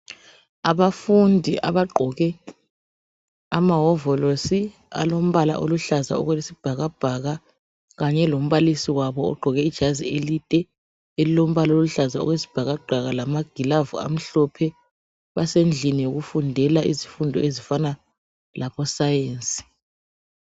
Abafundi abagqoke ama hovolosi alombala oluhlaza okwesibhakabhaka kanye lombalisi wabo ogqoke ijazi elide elilombala oluhlaza okwesibhakabhaka lamagilavu amhlophe, basendlini yokufundela izifundo ezifana labo science